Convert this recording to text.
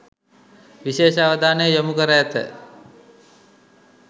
විශේෂ අවධානය යොමු කර ඇත.